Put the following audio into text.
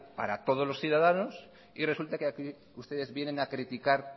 para todos los ciudadanos y resulta que aquí ustedes vienen a criticar